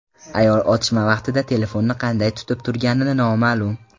Ayol otishma vaqtida telefonni qanday tutib turgani noma’lum.